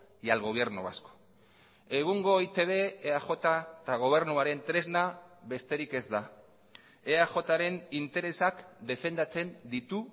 y al gobierno vasco egungo eitb eaj eta gobernuaren tresna besterik ez da eajren interesak defendatzen ditu